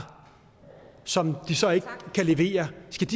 som de så ikke kan levere